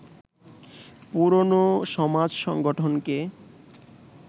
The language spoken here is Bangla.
পুরনো সমাজ-সংগঠনকে